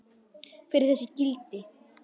Hver eru þessi gildi?